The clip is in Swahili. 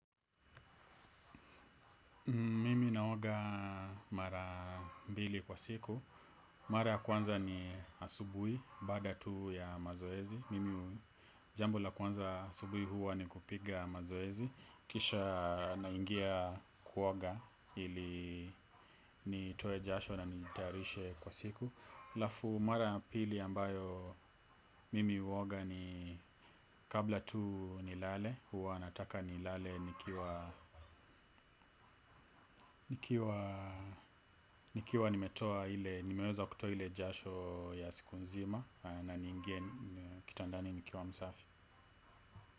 Mimi naoga mara mbili kwa siku. Mara ya kwanza ni asubuhi, baada tu ya mazoezi. Mimi jambo la kwanza asubuhi huwa ni kupiga mazoezi. Kisha naingia kuoga ili nitoe jasho na nijitayarishe kwa siku. Alafu mara pili ambayo mimi huoga ni kabla tu nilale huwa nataka nilale nikiwa nimetoa ile imeweza kutoa ile jasho ya siku nzima, na niingie kitandani nikiwa msafi.